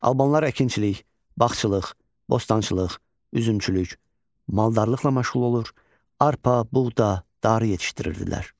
Albanlar əkinçilik, bağçılıq, bostançılıq, üzümçülük, maldarlıqla məşğul olur, arpa, buğda, darı yetişdirirdilər.